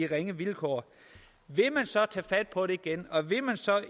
ringe vilkår vil man så tage fat på det igen og vil man så